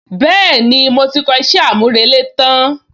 Bẹ́ẹ̀ni, mo ti kọ iṣẹ́ àmúrelé tán